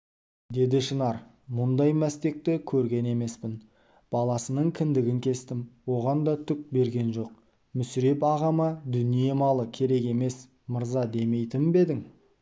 деді шынар мұндай мәстекі көрген емеспін баласының кіндігін кестім оған да түк берген жоқ мүсіреп ағама дүние-малы керек емес мырза демейтін бе едің